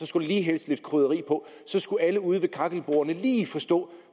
skulle lige hældes lidt krydderi på så skulle alle ude ved kakkelbordene lige forstå